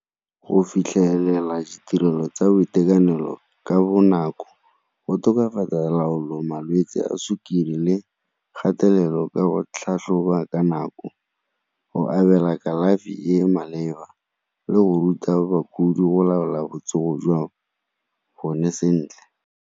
Go fitlhelela ditirelo tsa boitekanelo ka bonako go tokafatsa malwetse a sukiri le kgatelelo ka go tlhatlhoba ka nako, go abela kalafi e e maleba le go ruta bakudi go laola botsogo jwa bone sentle.